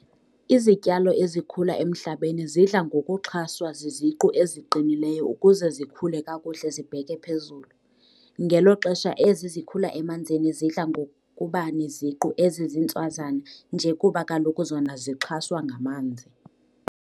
Izityalo ezikhula emhlabeni zidla ngokuxhaswa ziziqu eziqinileyo ukuze zikhule kakuhle zibheke phezulu, ngelo xesha ezi zikhula emanzini zidla ngokuba neziqu ezizintswazana nje kuba kaloku zona zixhaswa ngamanzi.